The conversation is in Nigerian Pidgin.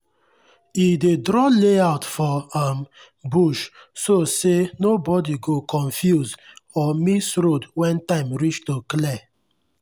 e dey draw layout for um bush so say nobody go confuse or miss road when time reach to clear.